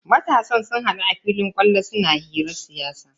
Matasan sun hadu a filin kwallo suna hirar siyasa.